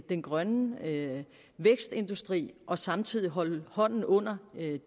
den grønne vækstindustri og samtidig holde hånden under